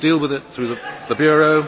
We will deal with it through the Bureau.